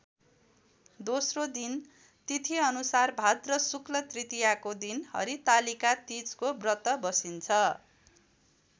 दोस्रो दिन तिथिअनुसार भाद्र शुक्ल तृतीयाको दिन हरितालिका तीजको व्रत बसिन्छ।